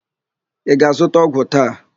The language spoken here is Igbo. Ị ga-azụta ọgwụ taa?